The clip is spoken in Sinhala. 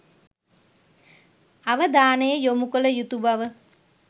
අවධානය යොමු කළ යුතු බව